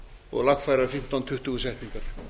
og lagfæra fimmtán tuttugu setningar